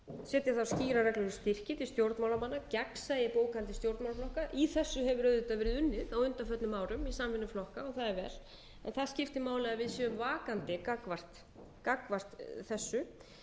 setja þarf skýrar reglur um styrki til stjórnmálamanna gegnsæi bókhaldi stjórnmálaflokka í þessu hefur auðvitað verið unnið á undanförnum árum í samvinnu flokka það er vel það skiptir máli að við séum vakandi gagnvart þessu